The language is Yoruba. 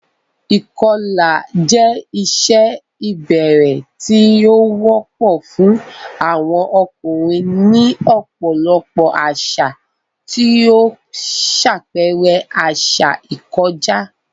Ìkọlà jẹ́ ìṣe ìbẹ̀rẹ̀ tí ó wọ́pọ̀ fún àwọn ọkùnrin ní ọ̀pọ̀lọpọ̀ àṣà, tí ó ń ṣàpẹẹrẹ àṣà ìkọjá.